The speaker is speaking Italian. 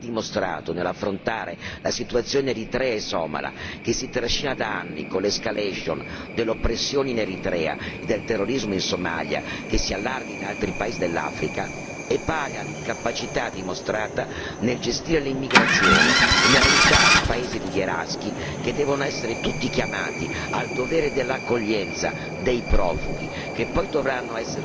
L'inefficienza politica che l'Unione ha dimostrato nell'affrontare la situazione eritrea e somala, che si trascina da anni con l'escalation delle oppressioni in Eritrea e del terrorismo in Somalia, che si allarga in altri paesi dell'Africa, è pari all'incapacità dimostrata nel gestire l'immigrazione e nell'aiutare i paesi rivieraschi che devono essere tutti chiamati al dovere dell'accoglienza